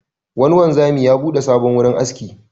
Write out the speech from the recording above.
Wani wanzami ya buɗe sabon wurin aski.